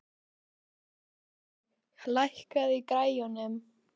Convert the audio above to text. Sigurlogi, lækkaðu í græjunum.